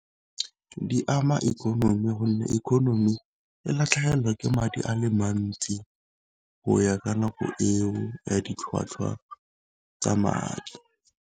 Di ama ikonomi gonne economy e latlhegelwa ke madi a le mantsi, go ya ka nako eo ya ditlhwatlhwa tsa madi.